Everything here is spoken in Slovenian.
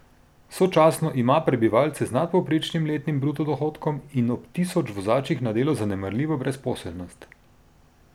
Sočasno ima prebivalce z nadpovprečnim letnim bruto dohodkom in ob tisoč vozačih na delo zanemarljivo brezposelnost.